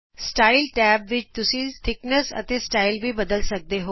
style tab ਵਿਚ ਤੁਸੀਂ ਮੋਟਾਈ ਬਦਲ ਸਕਦੇ ਹੋ ਅਤੇ ਸਟਾਈਲ ਵੀ ਬਦਲ ਸਕਦੇ ਹੋ